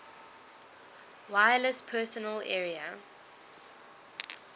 wireless personal area